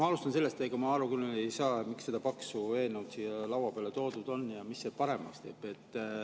Ma alustan sellest, et ega ma aru küll ei saa, miks see paks eelnõu siia laua peale toodud on ja mida see paremaks teeb.